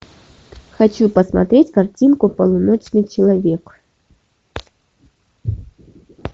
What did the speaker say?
хочу посмотреть картинку полуночный человек